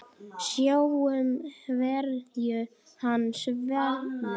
Sjáum hverju hann svarar.